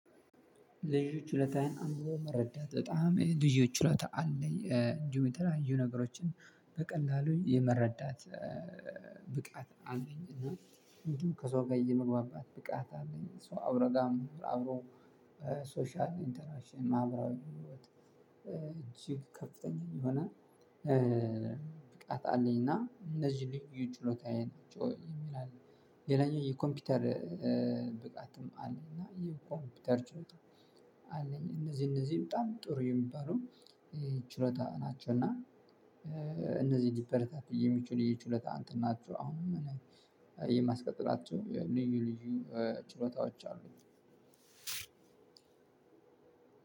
ልዩ ችሎታየን አንብቦ መረዳት በጣም ልዩ ችሎታ አለኝ እንዲሁም እንዲሁም የተለያዩ ነገሮችን በቀላሉ የመረዳት ብቃት አለኝ። እና እንዲሁም ከሰው ጋር የመግባባት ብቃት አለኝ። ከሰው አብሮጋ መኖር አብሮ ሶሻል ኢንተራክሽን ማህበራዊ ህይወት እጅግ ከፍተኛ የሆነ ብቃት አለኝ። እና እነዚህ ልዩ ጭሎታዬ ናቸው የሚል አለ። ሌላኛው የኮምፒውተር ብቃትም አለኝ እና የኮምፒውተር ችሎታ አለኝ። እነዚህ እነዚህ በጣም ጥሩ የሚባሉ ችሎታ ናቸው። እና እነዚህ ሊበረታቱ የሚችሉ የችሎታ አንትን ናችሁ። አሁንም የማስቀጥላቸው ልዩ ልዩ ችሎታዎች አሉኝ።